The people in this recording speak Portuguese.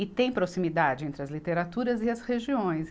E tem proximidade entre as literaturas e as regiões.